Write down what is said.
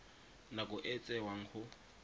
nako e e tsewang go